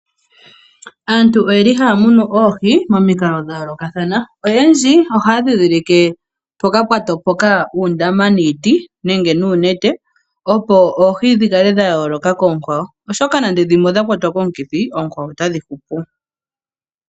Aantu oyeli haya munu oohi momikalo dha yoolokathana. Oyendji ohaya dhidhilike mpoka pwa topoka uundama niiti nenge nuunete opo oohi dhi kale dha yooloka koonkwawo. Oshoka nande dhimwe odha kwatwa komukithi oonkwawo otadhi hupu.